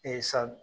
sa